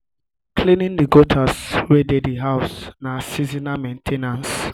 cleaning the gutters cleaning the gutters wey dey di house na seasonal main ten ance